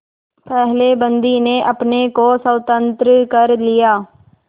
पहले बंदी ने अपने को स्वतंत्र कर लिया